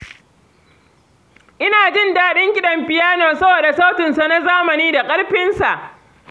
Ina jin daɗin kiɗan fiyano saboda sautinsa na zamani da ƙarfinsa.